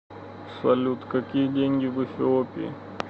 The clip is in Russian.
салют какие деньги в эфиопии